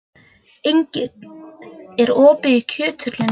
Engill, er opið í Kjöthöllinni?